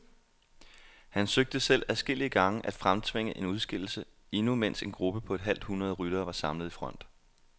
Han søgte selv adskillige gange at fremtvinge en udskillelse, endnu mens en gruppe på et halvt hundrede ryttere var samlet i front.